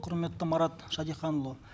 құрметті марат шәдетханұлы